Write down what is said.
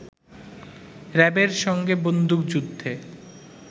র‌্যাবের সঙ্গে বন্দুকযুদ্ধে